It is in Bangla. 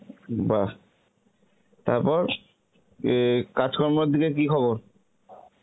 বাহ, তারপর, এ কাজ্কর্মর দিকের কি খবর?